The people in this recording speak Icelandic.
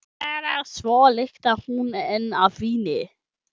Svo lyktar hún enn af víni.